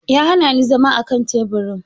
Ya hana ni zama akan teburin.